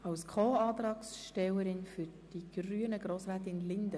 Als Co-Antragstellerin spricht für die Grünen Grossrätin Linder.